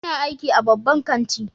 Ina aiki a babban kanti.